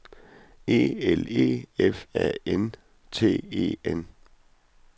E L E F A N T E N